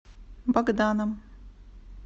богданом